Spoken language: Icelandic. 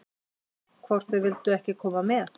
Hvort þau vildu ekki koma með?